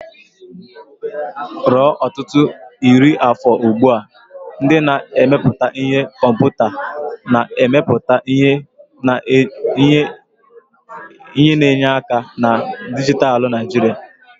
Ruo ọtụtụ iri afọ ugbu a, ndị na-emepụta ihe komputa na-emepụta ihe na enye aka na dijitalụ na Naijiria.